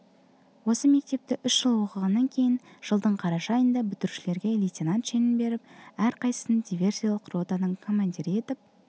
осы мектепте үш жыл оқығаннан кейін жылдың қараша айында бітірушілерге лейтенант шенін беріп әрқайсысын диверсиялық ротаның командирі етіп